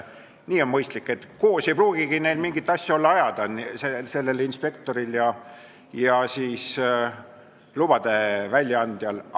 Nii on mõistlik, koos ei pruugigi neil olla mingit asja ajada, inspektoril ja lubade väljaandjal.